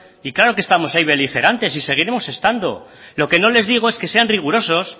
y claro que estamos ahí beligerantes y seguiremos estando lo que no les digo es que sean rigurosos